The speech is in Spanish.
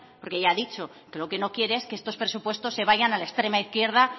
porque ya ha dicho que lo que no quiere es que estos presupuestos se vayan a la extrema izquierda